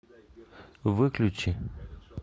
выключи